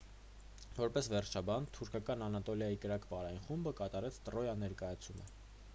որպես վերջաբան թուրքական անատոլիայի կրակ պարային խումբը կատարեց տրոյա ներկայացումը